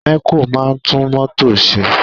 Mẹ̀kó máa ń tún mọ́tò ṣe.